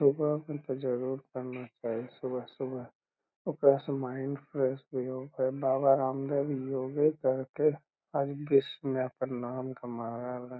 सुबह हमको जरूर पढ़ना चाहिए | सुबह सुबह ओकरा से माइंड फ्रेश बाबा रामदेव योगा करके आज विश्व में अपन नाम कमा रहलन |